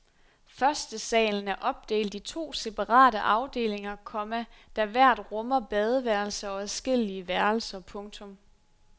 Første salen er opdelt i to separate afdelinger, komma der hver rummer badeværelse og adskillige værelser. punktum